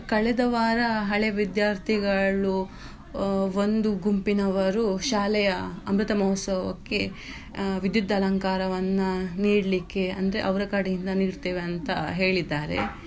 ಕಳೆದ ವಾರ ಹಳೆವಿದ್ಯಾರ್ಥಿಗಳು ಒಂದು ಗುಂಪಿನವರು ಶಾಲೆಯ ಅಮೃತಮಹೋತ್ಸವಕ್ಕೆ ವಿದ್ಯುತ್ ಅಲಂಕಾರವನ್ನ ನೀಡ್ಲಿಕ್ಕೆ ಅಂದ್ರೆ ಅವ್ರ ಕಡೆಯಿಂದ ನೀಡ್ತೇವೆ ಅಂತ ಹೇಳಿದ್ದಾರೆ.